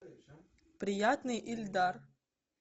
приятный эльдар